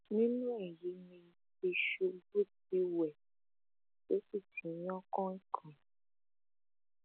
nínú èyí ni tìṣubù ti wẹ tó sì ti yan kàìnínkànín